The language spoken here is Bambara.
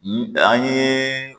An ye